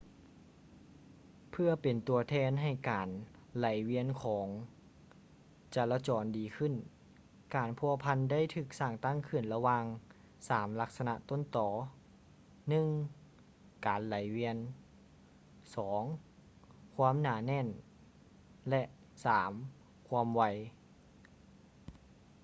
ເພື່ອເປັນຕົວແທນໃຫ້ການໄຫຼວຽນຂອງຈະລາຈອນດີຂຶ້ນ,ການພົວພັນໄດ້ຖືກສ້າງຕັ້ງຂຶ້ນລະຫວ່າງສາມລັກສະນະຕົ້ນຕໍ: 1 ການໄຫຼວຽນ 2 ຄວາມໜາແໜ້ນ ແລະ 3 ຄວາມໄວ